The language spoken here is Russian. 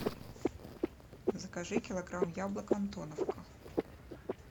закажи килограмм яблок антоновка